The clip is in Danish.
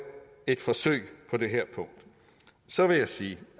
et forsøg på det her punkt så vil jeg sige